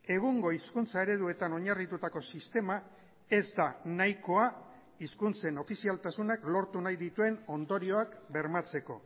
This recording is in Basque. egungo hizkuntza ereduetan oinarritutako sistema ez da nahikoa hizkuntzen ofizialtasunak lortu nahi dituen ondorioak bermatzeko